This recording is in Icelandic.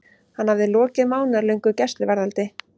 Hann hafði lokið mánaðarlöngu gæsluvarðhaldi.